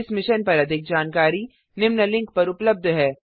इस मिशन पर अधिक जानकारी निम्न लिंक पर उपलब्ध है